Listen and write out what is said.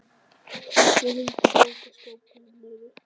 Kristján: Hrundi bókaskápur niður?